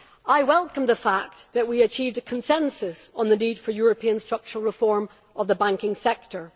I welcome the fact that we achieved a consensus on the need for European structural reform of the banking sector.